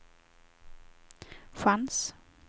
chans